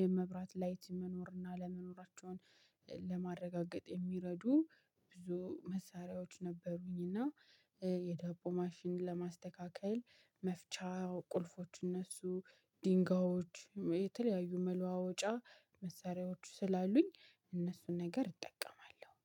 የመብራት ላይት መኖር እና አለመኖራቸውን ለማረጋገጥ የሚረዱ ብዙ መሳሪያዎች ነበሩኝ። እና የዳቦ ማሽን ለማስተካከል መፍቻ ቁልፎች እነሱ ድንጋዮች የተለያዩ መለዋወጫ መሳሪያዎቹ ስላሉኝ እነሱን ነገር እጠቀማለሁ